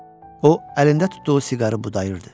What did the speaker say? O əlində tutduğu siqarı budayırdı.